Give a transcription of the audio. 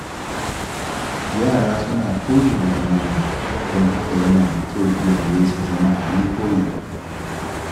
Yara suna koyi daga manya, don haka yana da kyau iyaye su zama abin koyi.